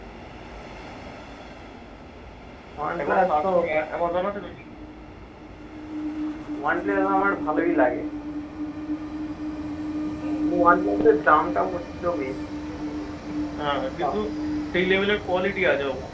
one plus আমার ভালই লাগে। কিন্তু one plus এর দামটা প্রচণ্ড বেশি।